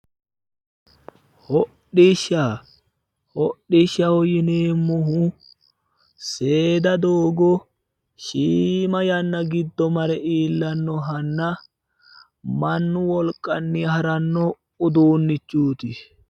hodhishsha hodhishshaho yineemmohu seeda doogo shiima yanna giddo mare iillannohanna mannu wolqanni haranno uduunnichooti.